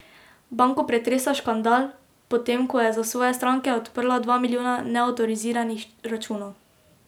Banko pretresa škandal, potem ko je za svoje stranke odprla dva milijona neavtoriziranih računov.